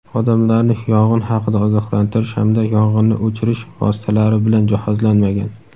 odamlarni yong‘in haqida ogohlantirish hamda yong‘inni o‘chirish vositalari bilan jihozlanmagan.